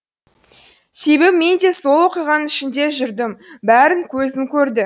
себебі мен де сол оқиғаның ішінде жүрдім бәрін көзім көрді